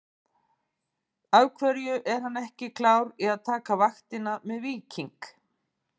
Af hverju er hann ekki klár í að taka vaktina með Víking?